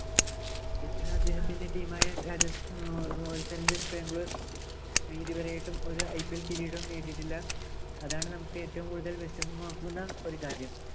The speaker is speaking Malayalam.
പിന്നീടു അദ്ദേഹത്തിന്‍റെ team ആയ Royal Challengers Bangalore ഇതുവരെ ആയിട്ടും ഒരു IPL കിരീടവും നേടിയിട്ടില്ല. അതാണ്‌ നമുക്ക് ഏറ്റവും കൂടുതല്‍ വെഷമാമാക്കുന്ന ഒരു കാര്യം.